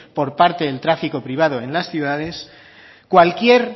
por parte de tráfico privado en las ciudades cualquier